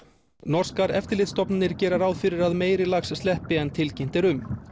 norskar eftirlitsstofnanir gera ráð fyrir að meiri lax sleppi en tilkynnt er um